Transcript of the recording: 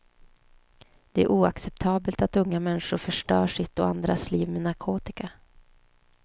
Det är oacceptabelt att unga människor förstör sitt och andras liv med narkotika.